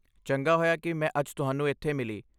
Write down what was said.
ਚੰਗਾ ਹੋਇਆ ਕਿ ਮੈਂ ਅੱਜ ਤੁਹਾਨੂੰ ਇੱਥੇ ਮਿਲੀ।